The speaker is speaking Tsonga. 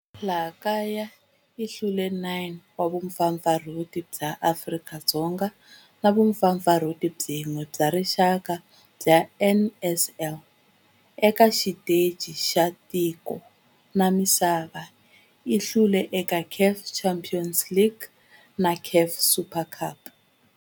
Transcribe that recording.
Eka laha kaya u hlule 9 wa vumpfampfarhuti bya Afrika-Dzonga na vumpfampfarhuti byin'we bya rixaka bya NSL. Eka xiteji xa matiko ya misava, u hlule eka CAF Champions League na CAF Super Cup.